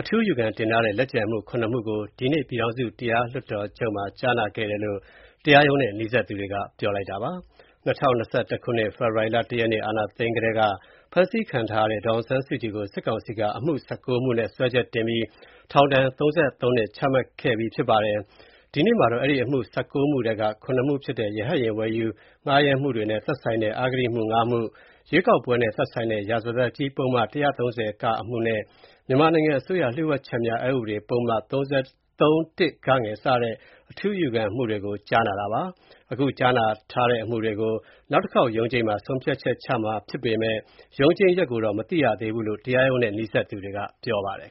အထူးအယူခံတင်ထားတဲ့ လက်ကျန်အမှု ၇မှုကို ဒီကနေ့ ပြည်ထောင်စု တရားလွှတ်တော်ချုပ်မှာ ကြားနာခဲ့တယ်လို့ တရားရုံးနဲ့ နီးစပ်သူတွေက ပြောပါတယ်။ ၂၀၂၁ ခုနှစ်၊ ဖေဖော်ဝါရီ ၁ ရက်နေ့၊ အာဏာသိမ်းကတည်းက ဖမ်းဆီးခံထားရတဲ့ ဒေါ်အောင်ဆန်းစုကြည်ကို စစ်ကောင်စီက အမှု ၁၉ မှုနဲ့ စွဲချက်တင်ပြီး ထောင်ဒဏ် ၃၃နှစ် ချမှတ်ခဲ့တာပါ။ ဒီကနေ့မှာတော့ အဲဒီအမှု ၁၉ မှုထဲက ၇ မှုဖြစ်တဲ့ ရဟတ်ယာဉ် ဝယ်ယူ၊ ငှားရမ်းမှုတွေနဲ့သက်ဆိုင်တဲ့ အဂတိမှု ၅ မှု၊ ရွေးကောက်ပွဲနဲ့ သက်ဆိုင်တဲ့ ရာဇသတ်ကြီးပုဒ်မ ၁၃၀(က) အမှုနဲ့ မြန်မာနိုင်ငံအစိုးရ လျှို့ဝှက်ချက်များ အက်ဥပဒေ ပုဒ်မ ၃(၁) (ဂ) စတဲ့ အထူး အယူခံတွေကို ကြားနာတာပါ။ အခုကြားနာထားတဲ့အမှုတွေကို နောက်တခေါက်ရုံးချိန်းမှာ ဆုံးဖြတ်ချက်ချမှာဖြစ်ပေမဲ့ ရုံးချိန်းရက်ကိုတော့ မသိရသေးဘူးလို့ တရားရုံးနဲ့ နီးစပ်သူတွေက ပြောပါတယ်